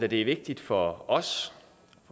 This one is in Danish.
det er vigtigt for os